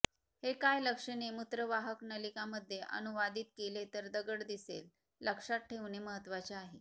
हे काय लक्षणे मूत्रवाहक नलिका मध्ये अनुवादित केले तर दगड दिसेल लक्षात ठेवणे महत्वाचे आहे